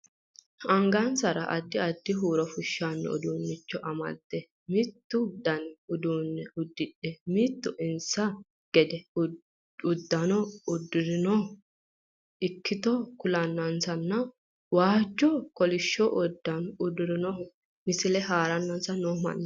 Angansanni addi addi dani huuro fushshano uduunnicho amadde mittu dani uduunne uddidhe mittu insa gedee uddano udfirinohu ikkito kulannansanna waajjonna kolishsho uddano uddirinohu misile haaranansa noo mannaati.